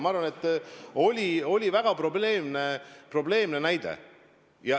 Ma arvan, et see oli väga probleemne näide.